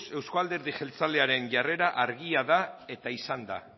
euzko alderdi jeltzalearen jarrera argia da eta izan da